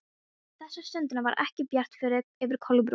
En þessa stundina var ekki bjart yfir Kolbrúnu.